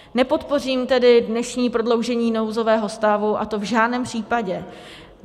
Nepodpořím tedy dnešní prodloužení nouzového stavu, a to v žádném případě.